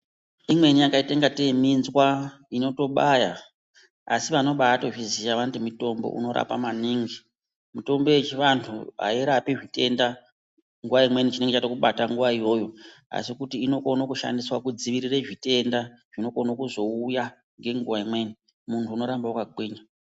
Imweni yakaite ingatei minzwa inotobaya asi vanobatozviziya vanoti mutombo unorapa maningi mitombo yechivanhu airapi zvitenda nguwa imweni chinenge chatokubata nguwa iyoyo asi kuti inokono kushandiswa kudzivirire zvitenda zvinokone kuzouya ngenguwa imweni munhu unoramba wakagwinya.